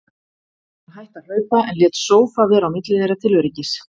Hann hætti að hlaupa, en lét sófa vera á milli þeirra til öryggis.